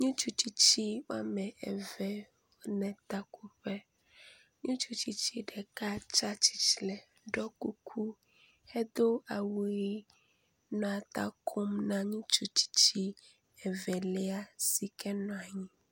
Ŋutsu tsitsi woame eve le takoƒe, ŋutsu tsitsi ɖeka tsa tsitre ɖɔ kuku hedo awu ʋi nɔa ta kom na ŋutsu tsitsi evelia si ke nɔa nyi.